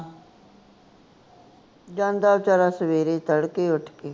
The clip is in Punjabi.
ਜਾਂਦਾ ਬੇਚਾਰਾ ਸਵੇਰੇ ਤੜਕੇ ਉੱਠ ਕੇ